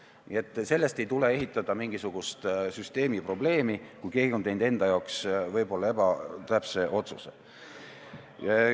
Nii et sellest ei tuleks ehitada mingisugust süsteemi probleemi, kui keegi on teinud enda jaoks võib-olla ebatäpse otsuse.